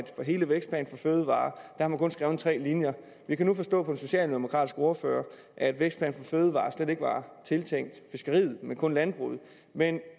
hele vækstplan for fødevarer har man kun skrevet tre linjer vi kan nu forstå på den socialdemokratiske ordfører at vækstplan for fødevarer slet ikke var tiltænkt fiskeriet men kun landbruget men